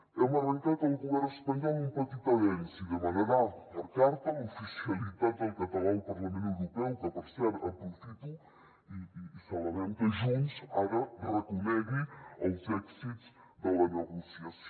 hem arrencat al govern espanyol un petit avenç i demanarà per carta l’oficialitat del català al parlament europeu que per cert aprofito i celebrem que junts ara reconegui els èxits de la negociació